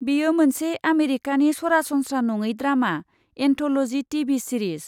बेयो मोनसे आमेरिकानि सरासनस्रा नङै ड्रामा एन्थ'लजि टिभि सिरिज।